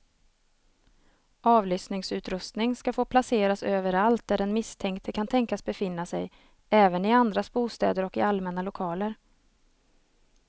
Avlyssningsutrustning ska få placeras överallt där den misstänkte kan tänkas befinna sig, även i andras bostäder och i allmänna lokaler.